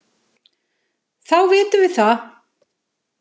Þá vitum við það.